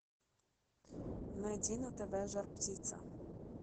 найди на тв жар птица